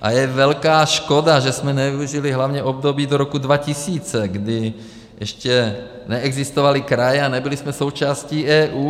A je velká škoda, že jsme nevyužili hlavně období do roku 2000, kdy ještě neexistovaly kraje a nebyli jsme součástí EU.